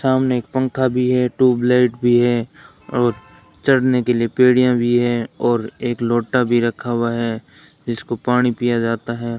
सामने एक पंखा भी है ट्यूबलाइट भी है और चढ़ने के लिए पीढ़ियां भी है और एक लोटा भी रखा हुआ है जिसको पानी पिया जाता है।